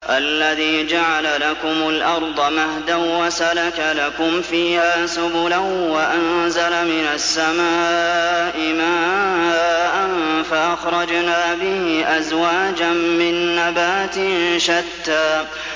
الَّذِي جَعَلَ لَكُمُ الْأَرْضَ مَهْدًا وَسَلَكَ لَكُمْ فِيهَا سُبُلًا وَأَنزَلَ مِنَ السَّمَاءِ مَاءً فَأَخْرَجْنَا بِهِ أَزْوَاجًا مِّن نَّبَاتٍ شَتَّىٰ